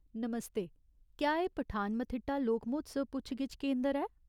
नमस्ते, क्या एह् पठानमथिट्टा लोक म्होत्सव पुच्छ गिच्छ केंदर ऐ ?